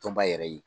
Tɔnba yɛrɛ ye